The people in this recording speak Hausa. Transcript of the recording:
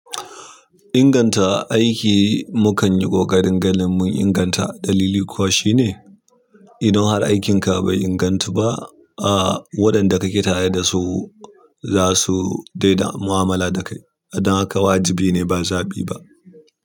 Inganta aiki mukan yi ƙoƙarin ganin mun inganta dalili kuwa shine idan har aikinka bai ingantu ba, a waɗanda ka ke tare da su za su dai na mu'amala da kai. Don haka wajibi ne ba zaɓi ba.